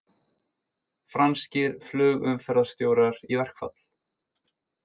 Franskir flugumferðarstjórar í verkfall